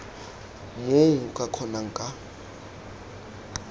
moo o ka kgonang ka